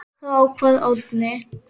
Þá kvað Árni: